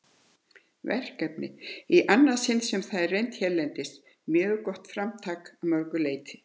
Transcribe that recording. verkefni, í annað sinn sem það er reynt hérlendis, mjög gott framtak að mörgu leyti.